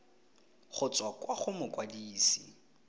go tswa kwa go mokwadise